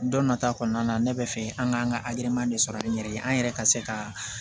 Don nata kɔnɔna na ne bɛ fɛ an ka an ka adamadenya de sɔrɔ an yɛrɛ ye an yɛrɛ ka se ka